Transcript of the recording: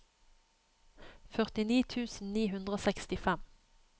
førtini tusen ni hundre og sekstifem